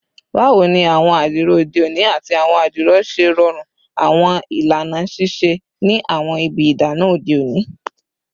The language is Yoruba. Bawo ni awọn adiro ode oni ati awọn adiro ṣe rọrun awọn ilana sise ni awọn ibi idana ode oni?